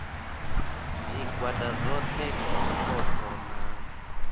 zwigwada zwohe kha zwipotso na